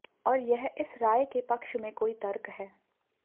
और यह इस राय के पक्ष में कोई तर्क है